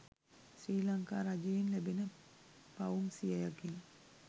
ශ්‍රී ලංකා රජයෙන් ලැබෙන පවුම් සියයකින්